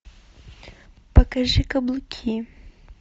покажи каблуки